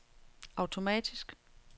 automatisk